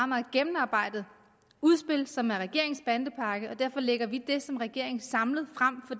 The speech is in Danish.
meget gennemarbejdet udspil som er regeringens bandepakke og derfor lægger vi det som regering samlet frem